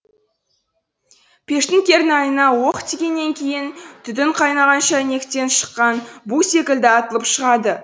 пештің кернайына оқ тигеннен кейін түтін қайнаған шәйнектен шыққан бу секілді атылып шығады